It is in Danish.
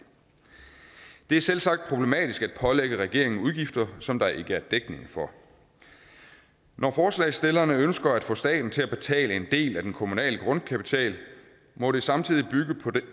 det er selvsagt problematisk at pålægge regeringen udgifter som der ikke er dækning for når forslagsstillerne ønsker at få staten til at betale en del af den kommunale grundkapital må det samtidig bygge